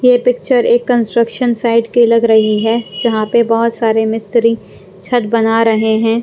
ये पिक्चर एक construction site की लग रही है जहाँ पर बहुत सारे मिस्त्री छत बना रहे हैं।